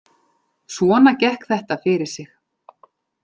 Svona gekk þetta fyrir sig